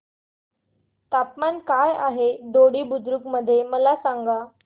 तापमान काय आहे दोडी बुद्रुक मध्ये मला सांगा